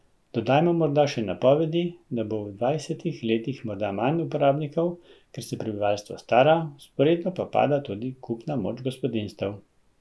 Dodajmo morda še napovedi, da bo v dvajsetih letih morda manj uporabnikov, ker se prebivalstvo stara, vzporedno pa pada tudi kupna moč gospodinjstev.